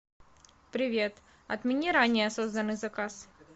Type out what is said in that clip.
привет отмени ранее созданный заказ